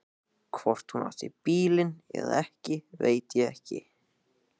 Hvort hún átti bílinn eða ekki veit ég ekki.